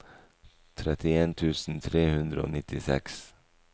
trettien tusen tre hundre og nittiseks